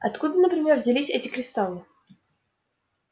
откуда например взялись эти кристаллы